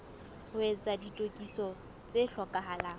ho etsa ditokiso tse hlokahalang